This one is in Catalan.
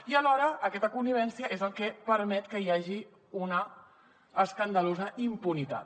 i alhora aquesta connivència és el que permet que hi hagi una escandalosa impunitat